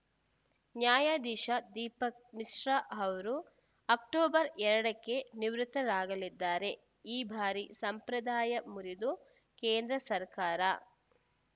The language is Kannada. ನ್ಯಾಯದಿಶಾ ದೀಪಕ್‌ ಮಿಶ್ರಾ ಅವರು ಅಕ್ಟೋಬರ್‌ ಎರಡಕ್ಕೆ ನಿವೃತ್ತರಾಗಲಿದ್ದಾರೆ ಈ ಬಾರಿ ಸಂಪ್ರದಾಯ ಮುರಿದು ಕೇಂದ್ರ ಸರ್ಕಾರ